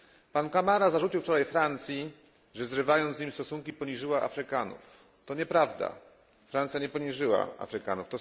Pan Camara zarzucił wczoraj Francji, że zrywając z nim stosunki poniżyła Afrykanów. To nieprawda. Francja nie poniżyła Afrykanów.